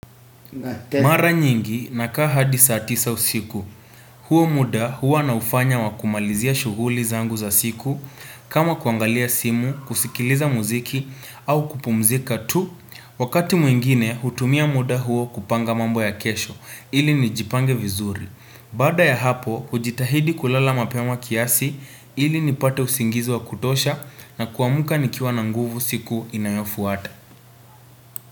Mara nyingi nakaa hadi saa tisa usiku huo muda huwa naufanya wa kumalizia shughuli zangu za siku kama kuangalia simu kusikiliza muziki au kupumzika tu wakati mwingine hutumia muda huo kupanga mambo ya kesho ili nijipange vizuri baada ya hapo kujitahidi kulala mapema kiasi ili nipate usingizi wa kutosha na kuamka nikiwa na nguvu siku inayofuata.